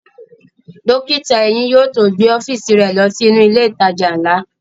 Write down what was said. Dókítà eyín yóò tó gbé ọ́fíìsì rẹ̀ ló sí inú ilẹ̀ ìtajà ńlá